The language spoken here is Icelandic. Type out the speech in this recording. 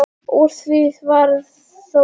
Úr því varð þó lítið.